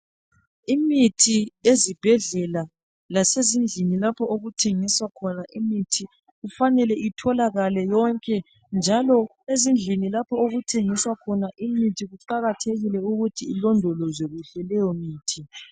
Imithi ezibhedlela lasezindlini lapho okuthengiswa khona imithi kufanele itholakale yonke njalo ezindlini lapho okuthengiswa khona imithi kuqakathekile ukuthi ilondolozwe kuhle leyomithi.